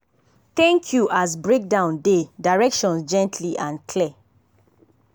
thank you as break down dey directions gently and clear.